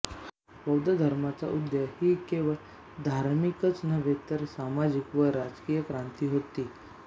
बौद्धधर्माचा उदय ही केवळ धार्मिकच नव्हे तर सामाजिक व राजकीय क्रांती होती